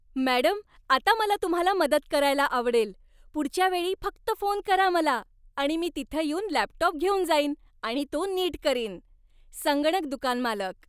Madam, आता मला तुम्हाला मदत करायला आवडेल. पुढच्या वेळी फक्त फोन करा मला आणि मी तिथं येऊन लॅपटॉप घेऊन जाईन आणि तो नीट करीन. संगणक दुकान मालक